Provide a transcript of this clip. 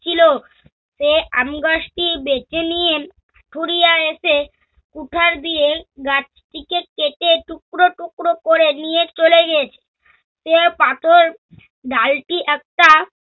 ছিল। সে আমগাছটি বেছে নিয়ে, কুরিয়া এসে, কুঠার দিয়ে গাছটিকে কেটে টুকরো টুকরো করে নিয়ে চলে গিয়েছে। সে পাথর, ডালটি একটা